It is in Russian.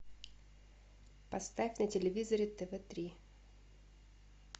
поставь на телевизоре тв три